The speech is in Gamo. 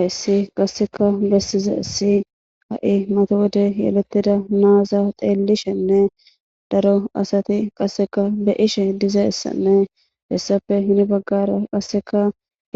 ayssi qasseka bessize si ha7i mata wode yelettida naaza xeellishenne daro asati qasseka be ishe dizaessanne hessape hini baggara qasseka